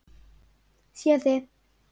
Sé þig.